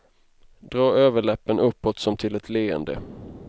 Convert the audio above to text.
Dra överläppen uppåt som till ett leende.